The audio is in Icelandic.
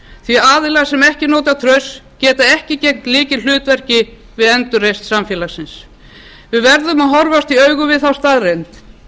því að aðilar sem ekki njóta trausts geta ekki gegnt lykilhlutverk við endurreisn samfélagsins við verðum að horfast í augu við þá staðreynd